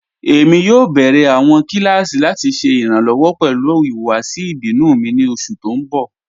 Ẹ̀mi yóò bẹ̀rẹ̀ awọn kilasí lati ṣẹ iranlọ́wọ pẹlu ihuwasi ibinu mi ni oṣù tí n bọ̀.